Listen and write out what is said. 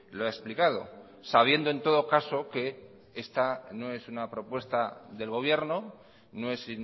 lo ha explicado sabiendo en todo caso que esta no es una propuesta del gobierno no es